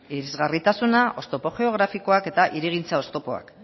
irisgarritasuna oztopo geografikoak eta hirigintza oztopoak